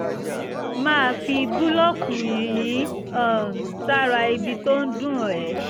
máa fi búlọ̀kù yìnyín um sára ibi tó ń dùn ẹ́